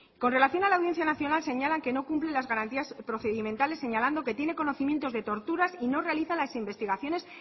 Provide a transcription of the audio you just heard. con relación a la audiencia nacional señalan que no cumple las garantías procedimentales señalando que tiene conocimientos de torturas y no realiza las investigaciones